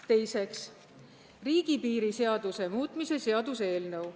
Teiseks, riigipiiri seaduse muutmise seaduse eelnõu.